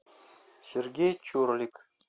сергей чурлик